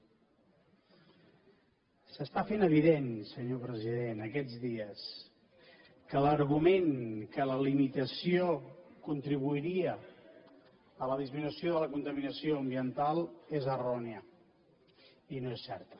s’està fent evident senyor president aquests dies que l’argument que la limitació contribuiria a la disminució de la contaminació ambiental és errònia i no és certa